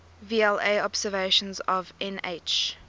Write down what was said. vla observations of nh